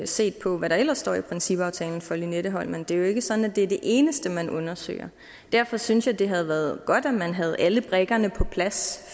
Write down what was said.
set på hvad der ellers står i principaftalen for lynetteholmen det er jo ikke sådan at det er det eneste man undersøger derfor synes jeg det havde været godt at man havde alle brikkerne på plads